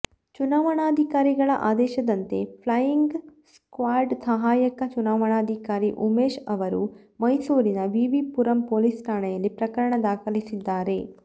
ಚುನಾವಣಾಧಿಕಾರಿಗಳ ಆದೇಶದಂತೆ flying squad ಸಹಾಯಕ ಚುನಾವಣಾಧಿಕಾರಿ ಉಮೇಶ್ ಅವರು ಮೈಸೂರಿನ ವಿವಿ ಪುರಂ ಪೊಲೀಸ್ ಠಾಣೆಯಲ್ಲಿ ಪ್ರಕರಣ ದಾಖಲಿಸಿದ್ದಾರೆ